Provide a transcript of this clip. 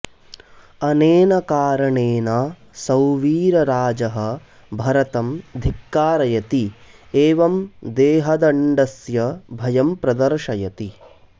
अनेन कारणेन सौवीरराजः भरतं धिक्कारयति एवं देहदण्डस्य भयं प्रदर्शयति